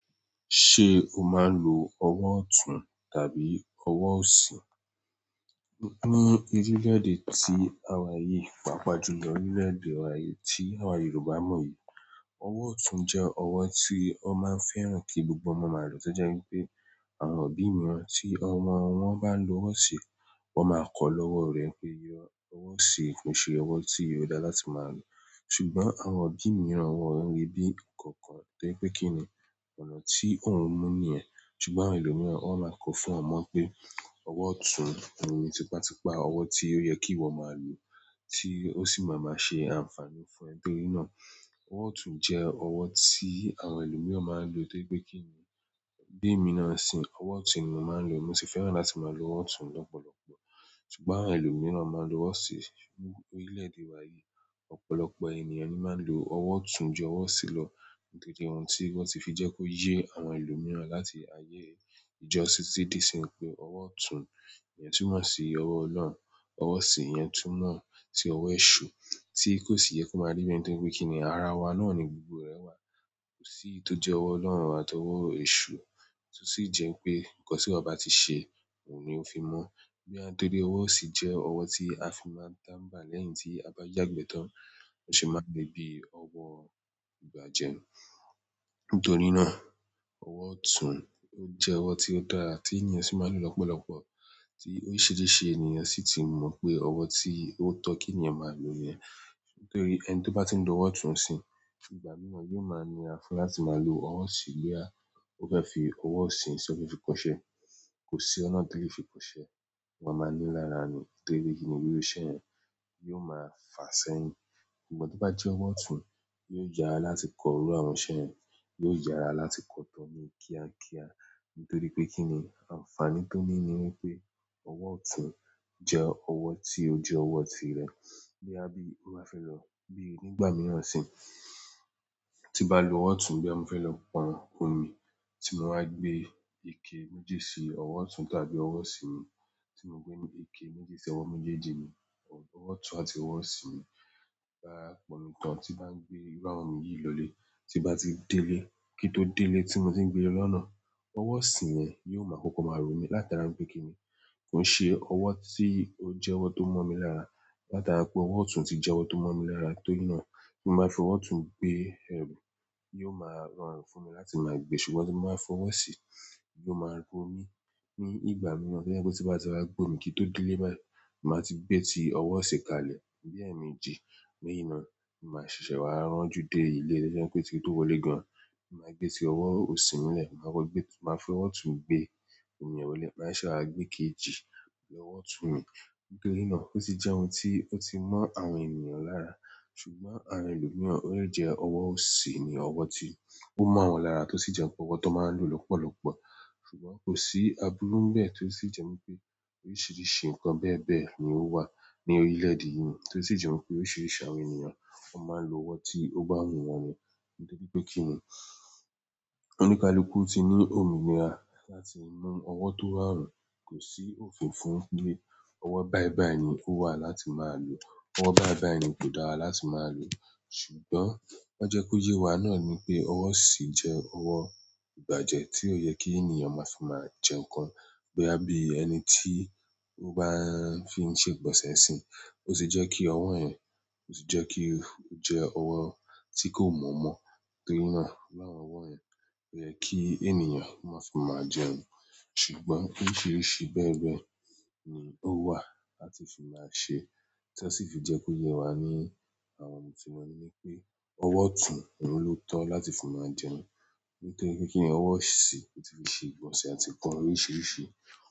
Ṣe o máa ń lò ọwọ osùn tàbí ọwọ òsì? Ní orilẹ-ede tí àwa yí, pàápàá jù ní orilẹ-ede wa yí tí àwa Yoruba mọ yí, ọwọ otùn jẹ ọwọ tí wọn má ń fẹ́ràn kí gbogbo ọmọ má lọ. Toje wípé àwọn òbí mìíràn tí ọmọ wọn bá lò ọwọ òsì, wọn má kọ lọwọ rẹ pé ọwọ òsì kì ṣe ọwọ tí ó dára láti má lò. Ṣùgbọ́n àwọn òbí mìíràn wọn rí bí kan kan torí pé kíni ọ̀nà tí òun mú ni yẹn. Ṣùgbọ́n àwọn ẹlo mìíràn wọn má ko fún wọn mọ pé ọwọ otùn òun ni tipátipá ọwọ tí ó yẹ kí iwọ má lò, tí o sì má má ṣe ànfàní fún ẹbi iná. Ọwọ otùn jẹ ọwọ tí àwọn ẹlo mìíràn má ń lò torípé kíni bí èmi na nisin ọwọ otùn ni mo má ń lò. Mo sì fẹ́ràn láti má lò ọwọ otùn lọpọlọpọ. Ṣùgbọ́n àwọn ẹlo mìíràn mọn lò ọwọ òsì. Ní orilẹ-ede wa yìí, ọ̀pọ̀lọpọ̀ ẹniyan ní má ń lò ọwọ otùn jù ọwọ òsì lọ nítorí ohun tí wọn tí fi jẹ kí o yé àwọn ẹlo mìíràn láti ayé ijo sì ti di sin pé ọwọ otùn yẹn tún mọ sí ọwọ ọlọ́run, ọwọ òsì yẹn tún mọ sí ọwọ Esu tí kò sì yẹ kí o má rí be ni torípé kíni ara wa náà ni gbogbo rẹ wa. Kò sí iyì tó jẹ ọwọ ọlọ́run àti ọwọ Esu, tó sì jẹ pé ǹkan tí eyan bá ti ṣe oun ni o fi mọ. Bóyá, nítorí pé ọwọ òsì jẹ ọwọ tí a fi máa ń támbà lẹ́yìn tí a bá yàgbẹ́ tán, loshey máa ń lè bí ọwọ ìbàjẹ́. Nítorí náà, ọwọ otùn o jẹ ọwọ tí ó dára tí ènìyàn sì má ń lò lọpọlọpọ, tí oríṣiríṣi ènìyàn sì ti mọ pé ọwọ tí o tọ kí ẹniyan má lò nìyẹn. Nítorí ẹni tó bá ti ń lò ọwọ otùn nisin, ìgbà mìíràn yóò má nira fún láti má lò ọwọ òsì bóyá o fẹ fi ọwọ òsì ṣe ọ̀fẹ́ fi kọṣẹ. Kò sí ọ̀nà tí o lè fi kọṣẹ, wọn má ni lára ni nítorí kíni gbígbọ́ iṣẹ́ yẹn yóò má fa sẹ́yìn. Ìgbà tí o bá jẹ ọwọ otùn, yóò yára láti kọ irú àwọn iṣẹ́ rẹ, yóò yára láti kọ tọ́ni kíákíá nítorí pé kíni ànfàní tó níní wípé ọwọ otùn jẹ ọwọ tí o jẹ ọwọ ti rẹ. Bóyá bí o bá fẹ lọ bí ní ìgbà mìíràn sì, tin bá lò ọwọ́ ọ̀tún nígbà tí moba felo pọn omi, timo wá gbé ike méjì sí ọwọ́ ọ̀tún tàbí ọwọ́ òsì mi, timo gbé ike méjì sí ọwọ́ méjèjì mi, ọwọ́ ọ̀tún àti ọwọ́ òsì mi, tin bá gbé irú àwọn omi yí lole tinba ti délé kinto délé timotin gbé lọ́nà, ọwọ́ òsì yẹn yóò má kọ́kọ́ máa romi, láti ara npe kíni koo ṣe owo ti oje owo tomomi lára, láti ara pé ọwọ́ ọ̀tún ti jẹ́ owo tó momi lára. Nítorí náà, kí n má fi ọwọ otùn gbé ẹru, yóò má rọrùn fún mi láti má gbé ṣùgbọ́n tí ń má fi ọwọ òsì, yóò má ro mi. Ní ìgbà mìíràn torí pé ti bá ti wa gbọ́ mi kin tó délé báyi, má ti gbé ti ọwọ òsì kalẹ̀ bí ẹmeje. Nítorí náà, mo máa ṣẹ̀ṣẹ̀ wá rò jù dé ilé, torí pé kin tó wọlé gan. Mo máa gbé ti ọwọ́ òsì mi lẹ̀, màá fi ọwọ́ otùn gbé omi ohun lé, màá ṣẹ̀ṣẹ̀ wá gbé ikejì lọ́wọ́ otùn mi. Nítorí náà, ó ti jẹ́ ohun tí ó ti mọ́ àwọn ènìyàn lára. Ṣùgbọ́n àwọn èlomiran, ó lè jẹ́ ọwọ́ òsì ni ọwọ́ tí ó mọ́ wọn lára, tó sì jẹ́ pé ọwọ́ tó máa ń lò lọ́pọ̀lọ́pọ̀. Ṣùgbọ́n kò sí aburú ń bẹ́ẹ̀ tó sì jẹ́ pé oríṣiríṣi nǹkan bẹ́ẹ̀bẹ́ẹ̀ ni ó wà ní orí ilẹ̀de yìí. Tó sì jẹ́ pé órisirisi àwọn ènìyàn, wọ́n máa ń lò ọwọ́ tí ó bá wù wọ́n nì. Nítorí pé kí ni oníkálukú ti ní omi ni ara láti mú ọwọ́ tóba wù, kò sí òfin fún pé ọwọ́ báìbàì ni ó wà láti máa lò. Ọwọ́ báìbàì ni kò dára láti máa lò. Ṣùgbọ́n woó jẹ́ kó yé wa náà ni pé ọwọ́ òsì jẹ́ ọwọ́ ìbàjẹ́ tí ó yẹ kí ènìyàn máa fi máa jẹ nǹkan. Bóyá bí ẹniti oba ń fi ṣe ìgbọ̀nsẹ̀ ńsìn, otije kí ọwọ́ yẹn otije kí ọwọ́ tiko mọ̀ọ́mọ̀ torí na irú àwọn ọwọ́ yẹn koyeki ènìyàn mafi má jẹun ṣùgbọ́n oríṣiríṣi bẹ́ẹ̀bẹ́ẹ̀ ni ó wà láti fi máa ṣe. Tí ó sì fi jẹ́ kó yé wa ní àwọn ohun tí wọ́n ní pé ọwọ́ otùn ohun ló tọ́ láti fi máa jẹun. Nítorí pé kí ni ọwọ́ òsì ti fi ṣe ìgbọ̀nsẹ̀ àti kan oríṣiríṣi.